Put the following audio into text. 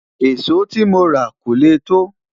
èso tí móra kò lẹ to